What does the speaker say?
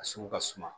A sugu ka suma